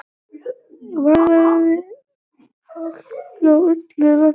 Varað við hálku á öllu landinu